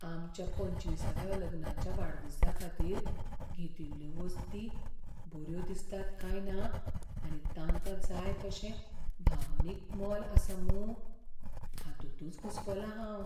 आमच्या पंचविसाव्या लग्नाच्या वाडदिसाखातीर घेतिल्ल्यो वस्ती बऱ्यो दिसतात काय ना आनी तांकां जाय तशें भावनीक मोल आसा मूं हातूंतच घुस्पलां हांव.